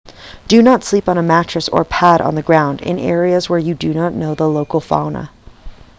do not sleep on a mattress or pad on the ground in areas where you do not know the local fauna